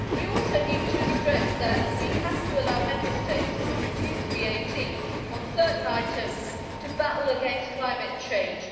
We also need to stress that we have to allow Member States to reduce VAT on certain items to battle against climate change.